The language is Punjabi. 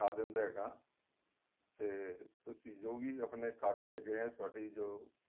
ਦਿੰਦੇ ਹੈਗਾ ਤੇ ਤੁਸੀਂ ਜੋ ਵੀ ਆਪਣੇਂ ਕਾਗਜ ਹੈਗੇ ਏ ਤੁਹਾਡੀ ਜੋ